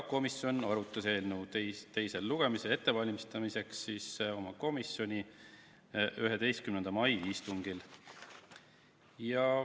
Komisjon arutas eelnõu teist lugemist ette valmistades oma 11. mai istungil.